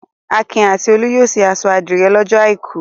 Akin a ti Olú yóò ṣe aṣọ àdìrẹ́ lọ́jọ́ àìkú.